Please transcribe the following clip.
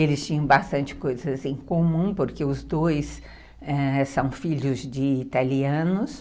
Eles tinham bastante coisas em comum, porque os dois ãh... são filhos de italianos.